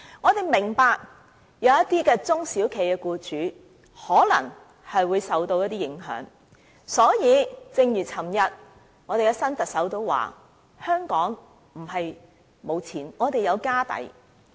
我們明白這樣做可能令一些中小型企業僱主受到影響，但正如昨天新特首所指，香港並非沒有錢，我們是有"家底"的。